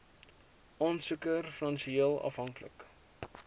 aansoeker finansieel afhanklik